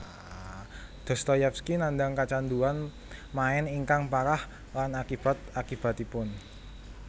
Dostoyevsky nandhang kacandhuan main ingkang parah lan akibat akibatipun